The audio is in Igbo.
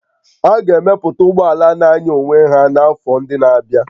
A ga-emepụta ụgbọ ala na-anya onwe ya n'afọ ndị na-abịa